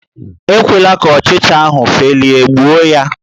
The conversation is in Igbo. ekwela ka ọchcha ahụ felie, gbuo ya!